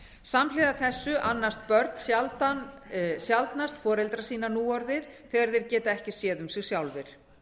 samhliða þessu annast börn sjaldnast foreldra sína núorðið þegar þeir geta ekki séð um sig sjálfir